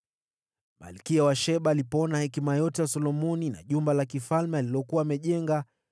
Malkia wa Sheba alipoona hekima yote ya Solomoni na jumba la kifalme alilokuwa amejenga,